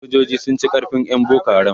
sojoji sun ci karfin ƴan boko haram